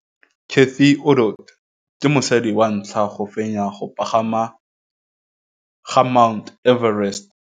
Cathy Odowd ke mosadi wa ntlha wa go fenya go pagama ga Mt Everest.